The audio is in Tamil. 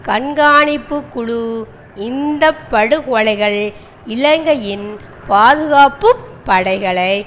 கண்காணிப்பு குழ இந்த படுகொலைகள் இலங்கையின் பாதுகாப்பு படைகளை